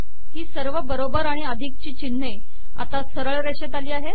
ही सर्व बरोबर आणि अधिक ची चिन्हे आता सरळ रेषेत आली